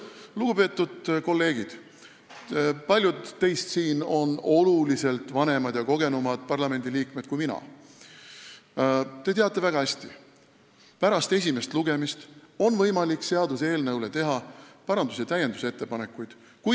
Lugupeetud kolleegid, paljud teist siin on oluliselt vanemad ja kogenumad parlamendiliikmed kui mina – te teate väga hästi, et pärast esimest lugemist on võimalik teha parandus- ja täiendusettepanekuid seaduseelnõu kohta.